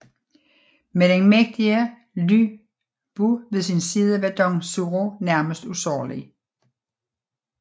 Med den mægtige Lü Bu ved sin side var Dong Zhuo nærmest usårlig